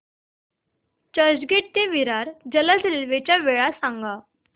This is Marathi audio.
चर्चगेट ते विरार जलद रेल्वे च्या वेळा सांगा